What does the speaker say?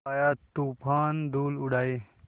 आया तूफ़ान धूल उड़ाए